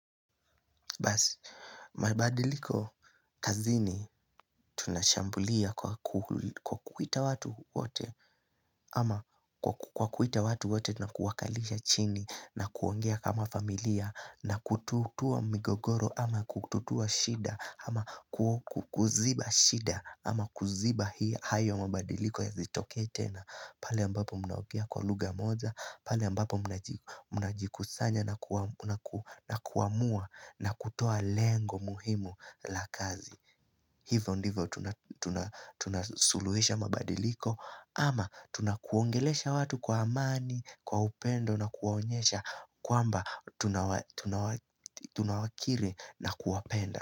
Basi, mabadiliko kazini tunashambulia kwa kuita watu wote ama kwa kuita watu wote na kuwakalisha chini na kuongea kama familia na kututua migogoro ama kututua shida ama kuziba shida ama kuziba hii hayo mabadiliko ya zitoke tena pale ambapo mnaogea kwa lugha moja pale ambapo muna jikusanya na kuamua na kutoa lengo muhimu la kazi Hivo ndivo tunasuluhisha mabadiliko ama tunakuongelesha watu kwa amani, kwa upendo na kuwaonyesha kwamba tunawakire na kuwapenda.